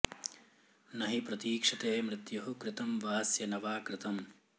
न हि प्रतीक्षते मृत्युः कृतं वास्य न वा कृतम्